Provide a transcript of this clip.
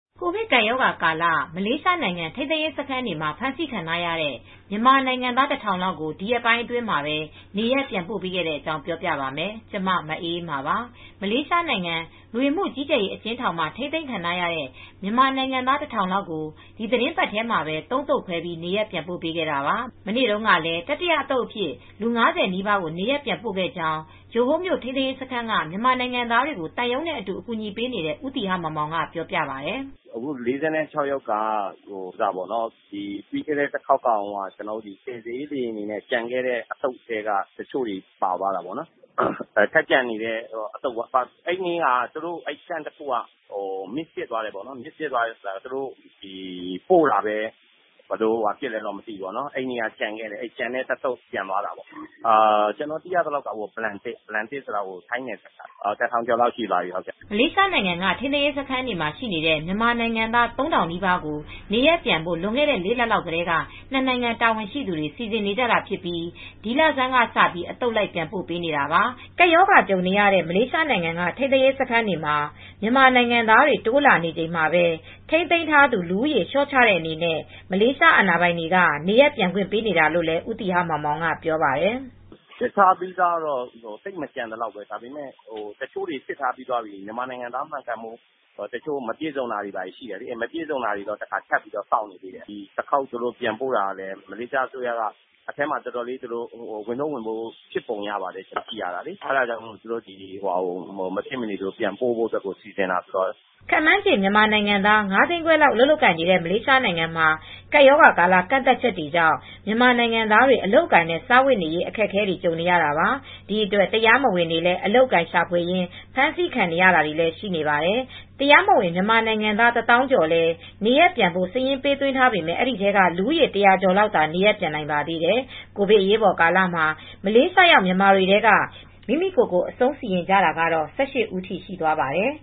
ကိုဗစ်ကပ်ရောဂါကာလ မလေးရှားနိုင်ငံ ထိန်းသိမ်းရေးစခန်းတွေမှာ ဖမ်းဆီးခံထားရတဲ့ မြန်မာနိုင်ငံသား ၁,၀၀၀ လောက်ကို ဒီရက်ပိုင်းအတွင်းမှာပဲ နေရပ်ပြန်ပို့ပေးခဲ့တဲ့အကြောင်း ပြောပြပါမယ်။ ဗွီအိုအေမြန်မာပိုင်း သတင်းထောက် မအေးအေးမာက သတင်းပေးပို့ထားပါတယ်။ မလေးရှားနိုင်ငံ လူဝင်မှုကြီးကြပ်ရေး အကျဉ်းထောင်တွေမှာ ထိန်းသိမ်းခံထားရတဲ့ မြန်မာနိုင်ငံသား ၁,၀၀၀ လောက်ကို ဒီသီတင်းပတ်ထဲမှာပဲ ၃ သုတ်ခွဲ နေရပ်ပြန်ပို့ပေးခဲ့တာပါ။ မနေ့တုန်းကလည်း တတိယအသုတ်အဖြစ် လူ ၅၀ နီးပါးကို နေရပ်ပြန်ပို့ခဲ့ကြောင်း ဂျိုဟိုးမြို့ ထိန်းသိမ်းရေးစခန်းက မြန်မာနိုင်ငံသားတွေကို သံရုံးနဲ့အတူ အကူညီပေးနေတဲ့ ဦးသီဟမောင်မောင်က ပြောပါတယ်။ "အခု ၄၆ ယောက်က ပြီးခဲ့တဲ့တခေါက်ကတုန်းက ကယ်ဆယ်ရေး လေယာဉ်တွေနဲ့ ကျန်ခဲ့တဲ့ အသုတ်ထဲက တချို့တွေ ပါသွားတာပေါ့နော်။ အဲဒီနေ့က စခန်းတခု ဘာမှားယွင်းမှု ဖြစ်လဲတော့ မသိဘူး။ ပို့တာ သူတို့ကျန်ခဲ့တယ်။ အဲ့ဒီ ကျန်တဲ့တသုတ် ပြန်ပို့ရတာပါ။ ကျနော်သိရသလောက် ပလန်တစ် စခန်းက ထိုင်းနယ်စပ်ကပါ လူ ၁,၀၀၀ ကျော်လောက်ရှိသွားပြီ။" မလေးရှားနိုင်ငံက ထိန်းသိမ်းရေးစခန်းတွေမှာ ရှိနေတဲ့ မြန်မာနိုင်ငံသား ၃,၀၀၀ နီးပါးကို နေရပ်ပြန်ဖို့ လွန်ခဲ့တဲ့ ၄ လ လောက်ကတည်းက ၂ နိုင်ငံ တာဝန်ရှိသူတွေ စီစဉ်နေတာဖြစ်ပြီး ဒီလဆန်းကစ အသုတ်လိုက်ပြန်ပို့နေတာပါ။ ကပ်ရောဂါကြုံနေရတဲ့ မလေးရှားနိုင်ငံက ထိမ်းသိမ်းရေးစခန်းတွေမှာ မြန်မာနိုင်ငံသားတွေ တိုးလာနေချိန်မှာပဲ ထိန်းသိမ်းထားသူ လူဦးရေ လျှော့ချတဲ့အနေနဲ့ မလေးရှားအာဏာပိုင်တွေက နေရပ်ပြန်ခွင့်ပေးနေတာလို့လည်း ဦးသီဟမောင်မောင်ကပြောပါတယ်။ "စစ်ထားပြီးသားတွေကတော့ သိပ်မကျန်သလောက်ပဲ။ တချို့တွေက မြန်မာနိုင်ငံသားမှန်ကန်မှု မပြည့်စုံသေးလို့ စောင့်နေသေးတယ်။ ပြန်ပို့တာကလည်း မလေးရှားအစိုးရက ထိန်းသိမ်းရေးစခန်းထဲမှာ ဝန်ထုတ်ဝန်ပိုးဖြစ်ပုံရပါတယ်။ ဒါကြောင့် မလေးရှားအစိုးရက မဖြစ်မနေ ပြန်ပို့ဖို့အတွက် စီစဉ်တာပါ။" ခန့်မှန်းခြေ မြန်မာနိုင်ငံသား ၅၅၀,၀၀၀ လောက် အလုပ်လုပ်ကိုင်နေတဲ့ မလေးရှားနိုင်ငံမှာ ကပ်ရောဂါကာလ ကန့်သတ်ချက်တွေကြောင့် မြန်မာနိုင်ငံသားတွေ အလုပ်အကိုင်နဲ့ စားဝတ်နေရေး အခက်အခဲတွေ ကြုံနေကြရတာပါ။ ဒီအတွက် တရားမဝင်တွေလည်း အလုပ်အကိုင်ရှာဖွေရင်း ဖမ်းဆီးခံရတာတွေ ရှိနေပါတယ်။ တရားမဝင်မြန်မာနိုင်ငံသား ၁၀,၀၀၀ ကျော်လည်း နေရပ်ပြန်ဖို့ စာရင်းပေးသွင်းထားပေမဲ့ အဲဒီထဲက လူဦးရေ ၁၀၀ ကျော်သာ နေရပ်ပြန်နိုင်ပါသေးတယ်။ ကိုဗစ်အရေးပေါ်ကာလမှာ မလေးရှားရောက်မြန်မာတွေထဲက မိမိကိုယ့်ကိုယ်ကို အဆုံးစီရင်ကြတာကတော့ ၁၈ ဦးထိ ရှိသွားပါတယ်